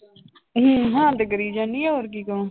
ਹੂੰ ਹਾਂ ਤੇ ਕਰੀ ਜਾਂਦੀ ਹਾਂ ਹੋਰ ਕੀ ਕਵਾਂ।